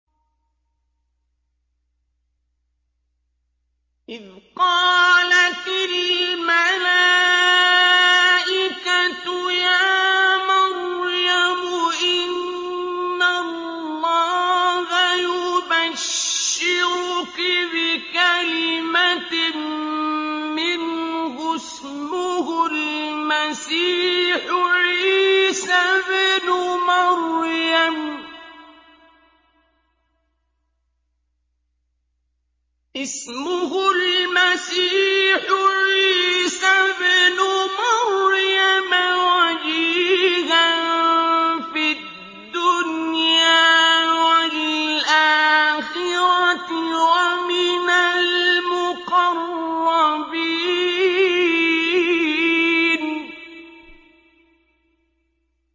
إِذْ قَالَتِ الْمَلَائِكَةُ يَا مَرْيَمُ إِنَّ اللَّهَ يُبَشِّرُكِ بِكَلِمَةٍ مِّنْهُ اسْمُهُ الْمَسِيحُ عِيسَى ابْنُ مَرْيَمَ وَجِيهًا فِي الدُّنْيَا وَالْآخِرَةِ وَمِنَ الْمُقَرَّبِينَ